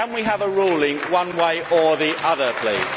Can we have a ruling one way or the other please?